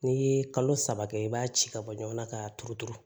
N'i ye kalo saba kɛ i b'a ci ka bɔ ɲɔgɔn na k'a turu turu